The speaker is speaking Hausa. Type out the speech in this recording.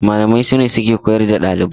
Malamai sune suke koyar da ɗalibai.